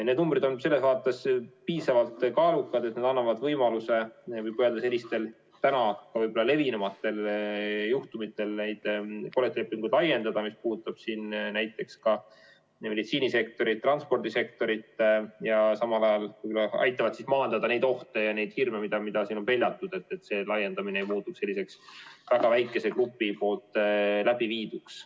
Need numbrid on selles vaates piisavalt kaalukad, et need annavad võimaluse ka levinumatel juhtumitel neid kollektiivlepinguid laiendada, mis puudutab ka näiteks meditsiinisektorit, transpordisektorit, ja samal ajal aitavad maandada neid hirme ja ohtu, mida on peljatud, et laiendamine ei oleks väga väikese grupi läbi viidud.